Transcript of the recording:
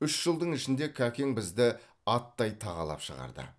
үш жылдың ішінде кәкең бізді аттай тағалап шығарды